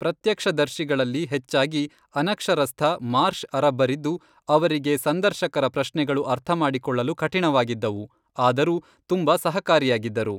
ಪ್ರತ್ಯಕ್ಷದರ್ಶಿಗಳಲ್ಲಿ ಹೆಚ್ಚಾಗಿ ಅನಕ್ಷರಸ್ಥ ಮಾರ್ಷ್ ಅರಬ್ಬರಿದ್ದು, ಅವರಿಗೆ ಸಂದರ್ಶಕರ ಪ್ರಶ್ನೆಗಳು ಅರ್ಥಮಾಡಿಕೊಳ್ಳಲು ಕಠಿಣವಾಗಿದ್ದವು ಆದರೂ ತುಂಬ ಸಹಕಾರಿಯಾಗಿದ್ದರು.